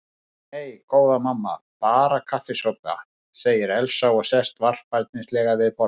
Nei, góða mamma, bara kaffisopa, segir Elsa og sest varfærnislega við borðið.